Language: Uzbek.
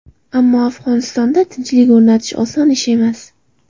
Ammo Afg‘onistonda tinchlik o‘rnatish oson ish emas.